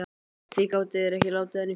Því gátu þeir ekki látið hann í friði?